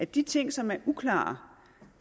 de ting som er uklare